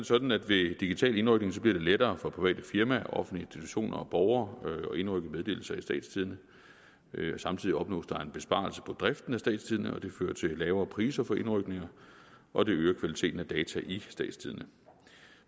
sådan at det ved digital indrykning bliver lettere for private firmaer og offentlige institutioner og borgere at indrykke meddelelser i statstidende samtidig opnås der en besparelse på driften af statstidende og det fører til lavere priser på indrykninger og det øger kvaliteten af data i statstidende